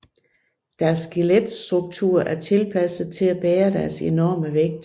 Deres skeletstrukturer er tilpasset til at bære deres enorme vægt